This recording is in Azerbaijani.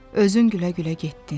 Özün gülə-gülə getdin.